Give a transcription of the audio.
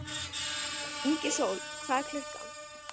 Ingisól, hvað er klukkan?